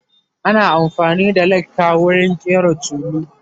ana afani da laka wurin ƙera tulu